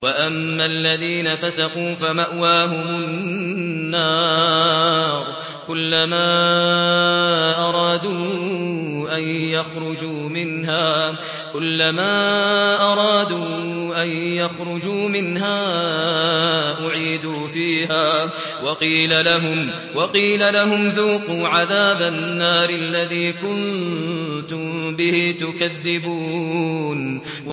وَأَمَّا الَّذِينَ فَسَقُوا فَمَأْوَاهُمُ النَّارُ ۖ كُلَّمَا أَرَادُوا أَن يَخْرُجُوا مِنْهَا أُعِيدُوا فِيهَا وَقِيلَ لَهُمْ ذُوقُوا عَذَابَ النَّارِ الَّذِي كُنتُم بِهِ تُكَذِّبُونَ